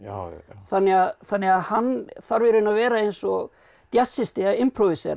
þannig að þannig að hann þarf í raun að vera eins og